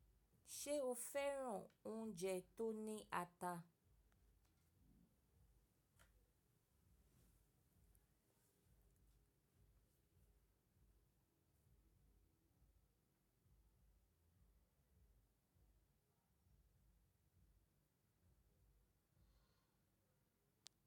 Ṣé o fẹ́ràn oúnjẹ tó ní ata?